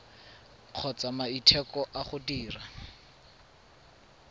kgotsa maiteko a go dira